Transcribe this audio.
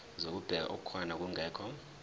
zokubheka okukhona nokungekho